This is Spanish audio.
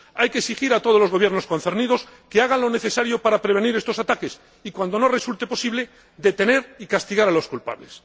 Hay que exigir a todos los Gobiernos concernidos que hagan lo necesario para prevenir estos ataques y, cuando no resulte posible, detener y castigar a los culpables.